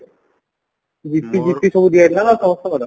ସମସ୍ତଙ୍କର